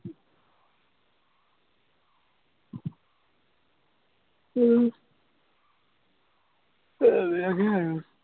আহ এইবিলাকেই আৰু